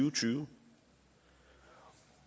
og tyve